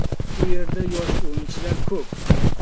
U yerda yosh o‘yinchilar ko‘p.